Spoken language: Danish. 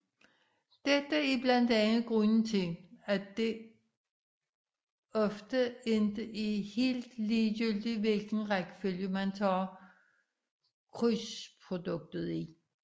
Dette er blandt andet grunden til at det ofte ikke er helt ligegyldigt hvilken rækkefølge man tager krydsproduktet i